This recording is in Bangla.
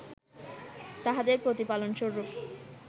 তাহাদের প্রতিপালনরূপ